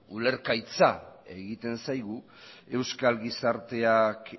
ulergaitza egiten zaigu euskal gizarteak